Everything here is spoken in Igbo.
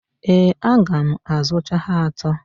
Ee, aga m azụcha ha atọ.